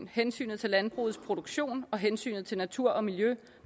hensynet til landbrugets produktion og hensynet til naturen og miljøet